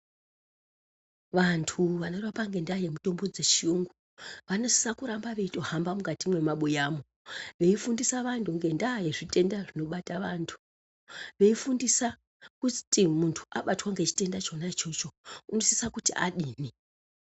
Vantu vanorapa ngendaa yemutombo dzechiyungu vanosisa kuramba vechitohamba mukati mwemabuyamo veifundisa vantu ngenyaya yezvitenda zvinobata vantu veifundisa kuti muntu abatwa ngechitenda ichona ichocho unosisa kuti adini